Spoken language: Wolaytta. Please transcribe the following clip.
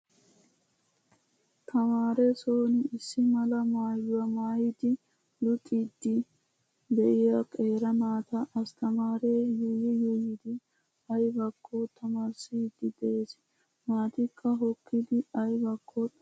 Tamaare son issi mala maayyuwaa maayidi luxiiddide"iyaa qeeri naata asttamaare yuuyyi yuuyyidi ayibakko tamaarissiiddi des. Naatikka hokkidi ayibakko xaapiddi doosona.